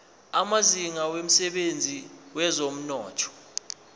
amazinga emsebenzini wezomnotho